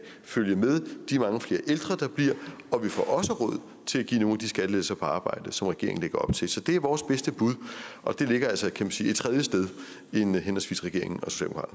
følge med de mange flere ældre der bliver og vi får også råd til at give nogle af de skattelettelser på arbejde som regeringen lægger op til så det er vores bedste bud og det ligger altså kan man sige et tredje sted end henholdsvis regeringen